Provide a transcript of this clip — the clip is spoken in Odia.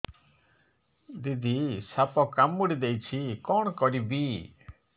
ଦିଦି ସାପ କାମୁଡି ଦେଇଛି କଣ କରିବି